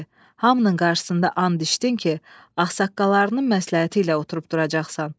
Hamının qarşısında and içdin ki, ağsaqqallarının məsləhəti ilə oturub duracaqsan.